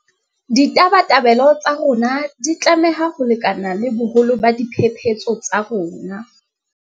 Ditabatabelo tsa rona di tlameha ho lekana le boholo ba diphephetso tsa rona.